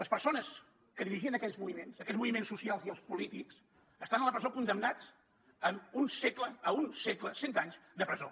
les persones que dirigien aquells moviments aquells moviments socials i polítics estan a la presó condemnats a un segle cent anys de presó